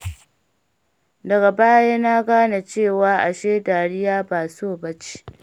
Daga baya na gane cewa ashe dariya ba so ba ce.